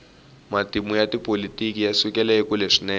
matimu ya tipolotiki yasukela ekule swinene